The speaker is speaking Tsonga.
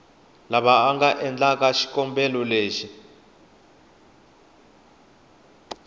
lava va nga endlaku xikombelo